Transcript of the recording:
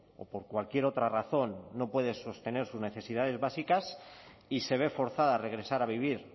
o por cualquier otra razón no puede sostener sus necesidades básicas y se ve forzada a regresar a vivir